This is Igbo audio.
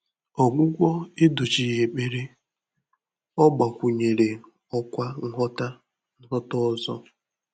Ọ́gwụ́gwọ́ èdóchíghị́ ékpèré; ọ́ gbàkwụ̀nyèrè ọ́kwá nghọ́tà nghọ́tà ọ́zọ́.